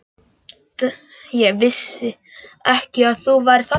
Ég vissi ekki að þú værir þarna.